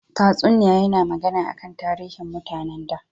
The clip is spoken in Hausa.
Tatsuniya yana magana akan tarihin mutane tun da.